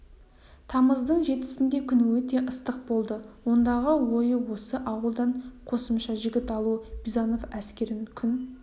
тамыздың жетісінде күн өте ыстық болды ондағы ойы осы ауылдан қосымша жігіт алу бизанов әскерін күн